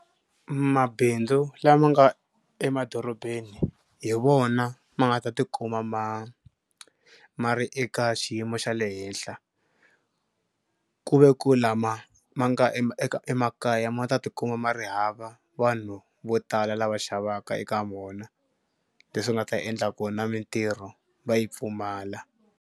Mabindzu lama nga emadorobeni hi wona ma nga ta tikuma ma ma ri eka xiyimo xa le henhla ku ve ku lama ma nga emakaya ma ta tikuma ma ri hava vanhu vo tala lava xavaka eka wona leswi nga ta endla ku na mitirho va yi pfumala.